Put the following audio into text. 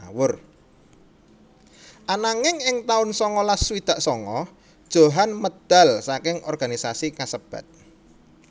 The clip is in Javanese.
Ananging ing taun sangalas swidak sanga Djohan medal saking organisasi kasebat